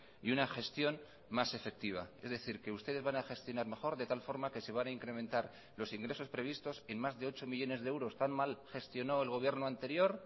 y una gestión más efectiva es decir que ustedes van a gestionar mejor de tal forma que se van a incrementar los ingresos previstos en más de ocho millónes de euros tan mal gestionó el gobierno anterior